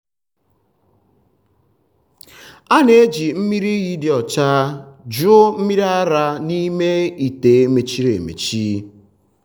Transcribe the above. a na-eji mmiri iyi dị ọcha jụọ mmiri ara n’ime ite mechiri emechi.